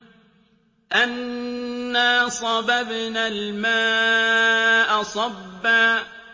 أَنَّا صَبَبْنَا الْمَاءَ صَبًّا